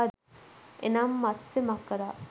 එනම් මත්ස්‍ය මකරා